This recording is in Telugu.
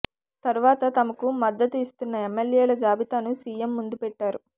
తరువాత తమకు మద్దతు ఇస్తున్న ఎమ్మెల్యేల జాబితాను సీఎం ముందు పెట్టారు